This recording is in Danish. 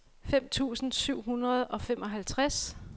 fem tusind syv hundrede og femoghalvtreds